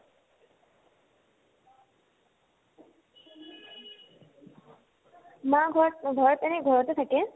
মা ঘৰত ঘৰত এনে ঘৰতে থাকে